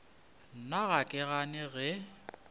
nna ga ke gane ge